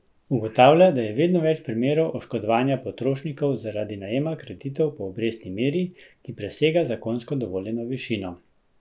Ugotavlja, da je vedno več primerov oškodovanja potrošnikov zaradi najema kreditov po obrestni meri, ki presega zakonsko dovoljeno višino.